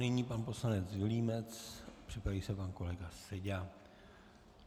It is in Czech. Nyní pan poslanec Vilímec, připraví se pan kolega Seďa.